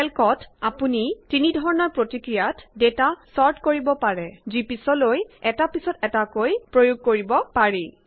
কেল্কত আপুনি তিনি ধৰণৰ প্ৰক্ৰিয়াত ডেটা চৰ্ট কৰিব পাৰে যি পিছলৈ প্ৰয়োগ কৰিব পাৰি